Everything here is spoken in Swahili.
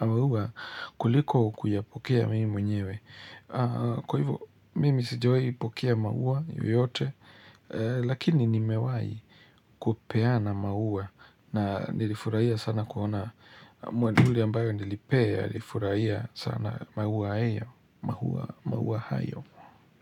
maua kuliko kuyapokea mimi mwenyewe. Kwa hivyo, mimi sijawahi pokea maua yoyote, Lakini nimewahi kupeana maua na nilifurahia sana kuona mwendhuli ambaye nilipee alifurahia sana maua heyo, maua hayo.